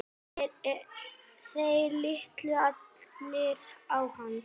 Þeir litu allir á hann.